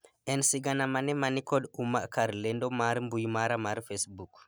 en sigana mane mani kod umma kar lendo mar mbui mara mar facebook